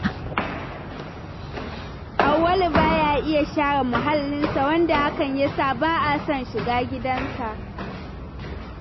Auwalu baya iya share muhallinsa, wanda hakan ya sa ba a son shiga gidansa.